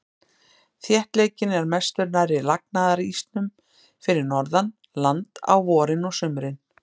Þéttleikinn er mestur nærri lagnaðarísnum fyrir norðan land á vorin og sumrin.